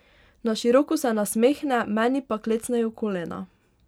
Na široko se nasmehne, meni pa klecnejo kolena.